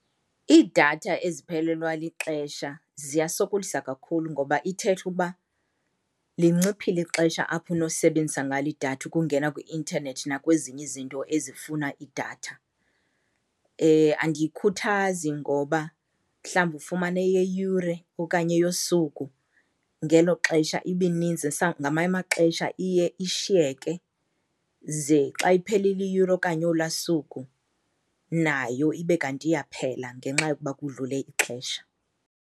Iidatha eziphelelwa lixesha ziyasokolisa kakhulu ngoba ithetha uba linciphile ixesha apho unosebenzisa ngalo idatha ukungena kwi-intanethi nakwezinye izinto ezifuna idatha. Andiyikhuthazi ngoba mhlawumbi ufumane eyeyure okanye eyosuku ngelo xesha ibe ininzi , ngamanye amaxesha iye ishiyeke ze xa iphelile iyure okanye olaa suku nayo ibe kanti iyaphela ngenxa yokuba kudlule ixesha.